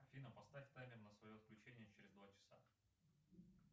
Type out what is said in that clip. афина поставь таймер на свое отключение через два часа